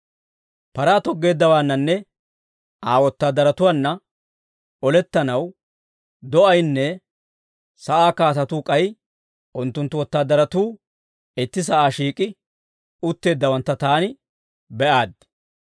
Paraa toggeeddawaannanne Aa wotaadaratuwaanna olettanaw, do'aynne sa'aa kaatatuu k'ay unttunttu wotaadaratuu itti sa'aa shiik'i utteeddawantta taani be'aaddi.